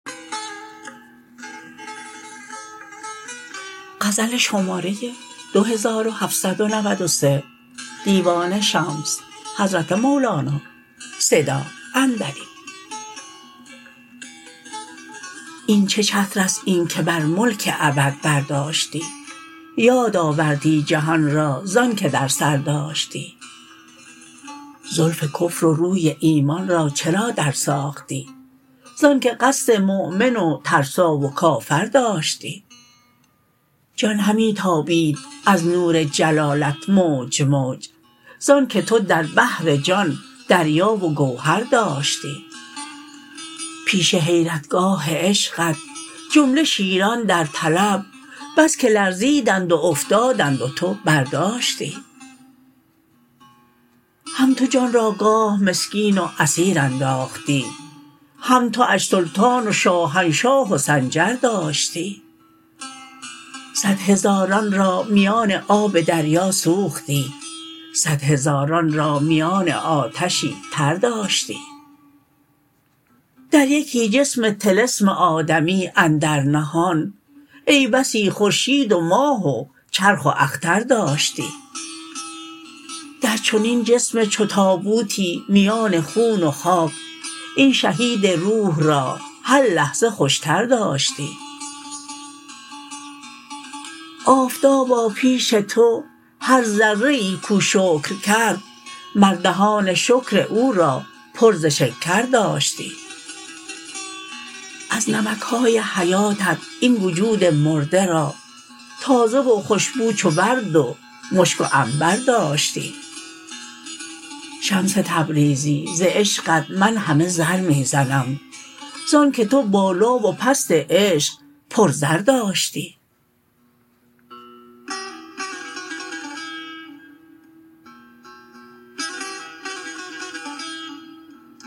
این چه چتر است این که بر ملک ابد برداشتی یادآوردی جهان را ز آنک در سر داشتی زلف کفر و روی ایمان را چرا درساختی ز آنک قصد مؤمن و ترسا و کافر داشتی جان همی تابید از نور جلالت موج موج ز آنک تو در بحر جان دریا و گوهر داشتی پیش حیرتگاه عشقت جمله شیران در طلب بس که لرزیدند و افتادند و تو برداشتی هم تو جان را گاه مسکین و اسیر انداختی هم تواش سلطان و شاهنشاه و سنجر داشتی صد هزاران را میان آب دریا سوختی صد هزاران را میان آتشی تر داشتی در یکی جسم طلسم آدمی اندر نهان ای بسی خورشید و ماه و چرخ و اختر داشتی در چنین جسم چو تابوتی میان خون و خاک این شهید روح را هر لحظه خوشتر داشتی آفتابا پیش تو هر ذره ای کو شکر کرد مر دهان شکر او را پر ز شکر داشتی از نمک های حیاتت این وجود مرده را تازه و خوش بو چو ورد و مشک و عنبر داشتی شمس تبریزی ز عشقت من همه زر می زنم ز آنک تو بالا و پست عشق پرزر داشتی